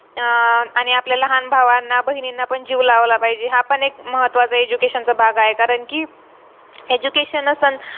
अह आणि आपल्या लहान भावांना बहिणींना पण जीव लावला पाहिजे हा पण एक महत्वाचा education चा भाग आहे कारण कि education असन